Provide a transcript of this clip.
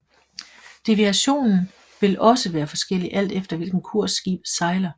Deviationen vil også være forskellig alt efter hvilken kurs skibet sejler